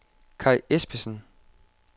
Kaj Espensen